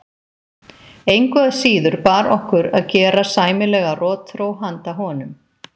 Engu að síður bar okkur að gera sæmilega rotþró handa honum.